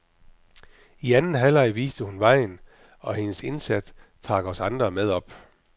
I anden halvleg viste hun vejen, og hendes indsats trak os andre med op.